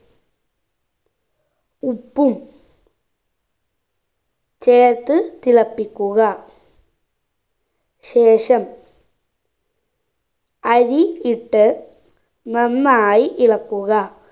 ഉപ്പും ചേർത്ത് തിളപ്പിക്കുക ശേഷം അരി ഇട്ട് നന്നായി ഇളക്കുക